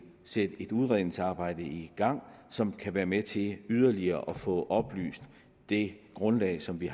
sætte et udredningsarbejde i gang som kan være med til yderligere at få oplyst det grundlag som vi